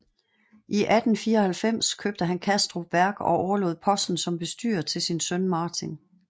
I 1894 købte han Kastrup Værk og overlod posten som bestyrer til sin søn Martin